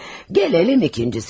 Gələk ikincisinə.